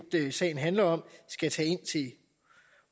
sagen handler om skal tage ind til